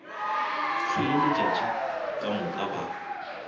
hlwele letšatši ka moka ba